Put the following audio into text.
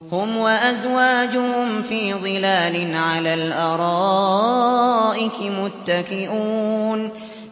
هُمْ وَأَزْوَاجُهُمْ فِي ظِلَالٍ عَلَى الْأَرَائِكِ مُتَّكِئُونَ